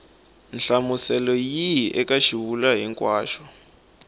nhlamuselo yihi eka xivulwa hinkwaxo